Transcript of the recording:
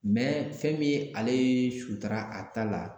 fɛn min ale ye sutara a ta la